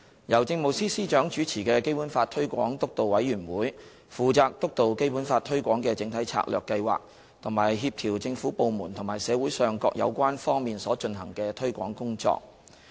由政務司司長主持的基本法推廣督導委員會，負責督導《基本法》推廣的整體策略計劃及協調政府部門和社會上各有關方面所進行的推廣工作。